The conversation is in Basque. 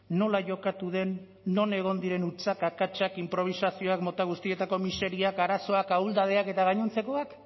nola jokatu den non egon diren hutsak akatsak inprobisazioak mota guztietako miseriak arazoak ahuldadeak eta gainontzekoak